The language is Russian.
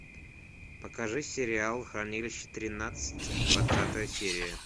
покажи сериал хранилище тринадцать двадцатая серия